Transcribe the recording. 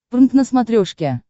прнк на смотрешке